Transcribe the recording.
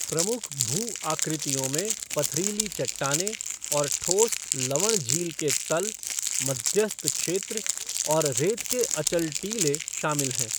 प्रमुख भू आकृतियों में पथरीली चट्टानें और ठोस लवण झील के तल, मध्यस्थ क्षेत्र और रेत के अचल टीले शामिल हैं।